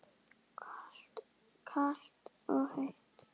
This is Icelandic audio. Kalt og heitt.